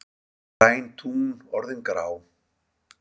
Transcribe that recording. Græn tún orðin grá